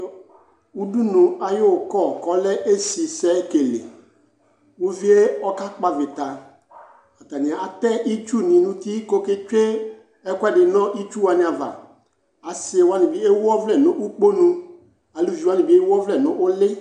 Udunu ay'ʋkɔ k'ɔlɛ esisɛekele; uvie ɔkakpɔ avɩta Atanɩ atɛ itsu nʋ uti k'oketsue ɛkʋɛdɩ nʋ itsuwanɩ ava Asɩwanɩ ewu ɔvlɛ n'ukponu, eluviwanɩ bɩ ewuɔvlɛ n'ʋlɩ